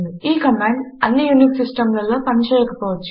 ఈ కమాండు అన్ని యూనిక్స్ సిస్టములలో పనిచేయకపోవచ్చు